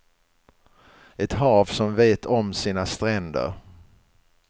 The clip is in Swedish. Ett hav som vet om sina stränder.